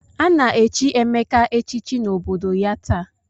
A na-echi Emeka echichi n'obodo ya taa.